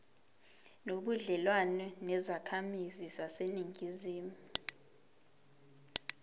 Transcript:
nobudlelwane nezakhamizi zaseningizimu